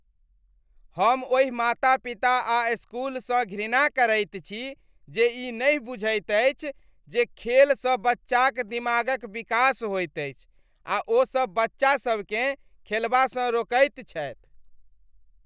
हम ओहि माता पिता आ इस्कूलसँ घृणा करैत छी जे ई नहि बुझैत अछि जे खेलसँ बच्चाक दिमागक विकास होइत अछि आ ओसब बच्चासबकेँ खेलबासँ रोकैत छथि।